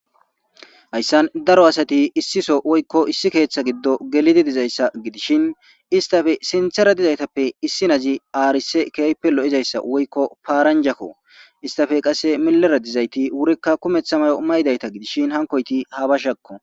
hayssan daro asati issiso woykko issi keeththa giddo gelidi dizayssa gidishin istafe sinthera dizaytappe issi nazi aarise kaype lo7izayssa woykko paaranjako istafe qase milara dizayti wurikka kumeththa mayo maydayta gidishin hankoyti haabashakko